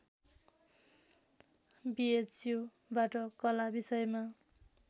बिएचयुबाट कला विषयमा